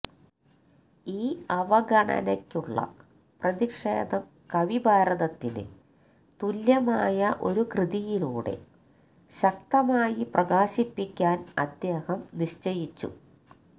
ഈ അവഗണനയ്ക്കുള്ള പ്രതിഷേധം കവിഭാരതത്തിന് തുല്യമായ ഒരു കൃതിയിലൂടെ ശക്തമായി പ്രകാശിപ്പിക്കാന് അദ്ദേഹം നിശ്ചയിച്ചു